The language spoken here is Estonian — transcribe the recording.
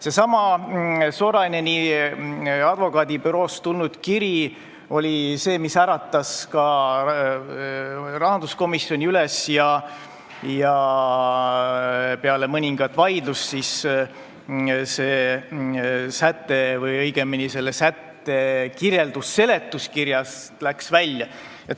Seesama Soraineni advokaadibüroost tulnud kiri oli see, mis äratas ka rahanduskomisjoni üles ja peale mõningat vaidlust see säte või õigemini selle sätte kirjeldus läks seletuskirjast välja.